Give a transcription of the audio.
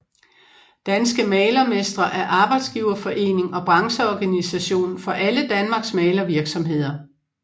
Danske Malermestre er arbejdsgiverforening og brancheorganisation for alle Danmarks malervirksomheder